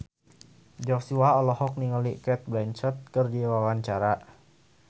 Joshua olohok ningali Cate Blanchett keur diwawancara